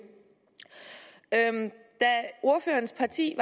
da ordførerens parti